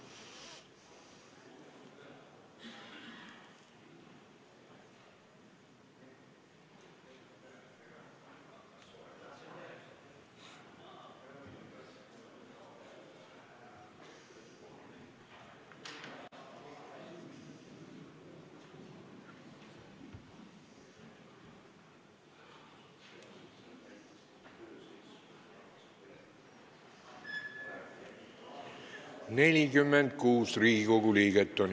Kohaloleku kontroll Infotunnis on 46 Riigikogu liiget.